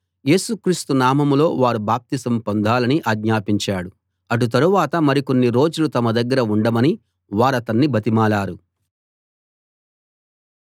యేసుక్రీస్తు నామంలో వారు బాప్తిస్మం పొందాలని ఆజ్ఞాపించాడు అటు తరువాత మరికొన్ని రోజులు తమ దగ్గర ఉండమని వారతన్ని బతిమాలారు